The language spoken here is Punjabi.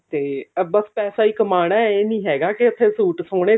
ਤੇ ਆ ਬਸ ਪੈਸਾ ਹੀ ਕਮਾਉਣਾ ਇਹ ਨੀ ਹੈਗਾ ਕਿ ਉੱਥੇ ਸੂਟ ਸੋਹਣੇ